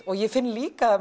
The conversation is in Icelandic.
ég finn líka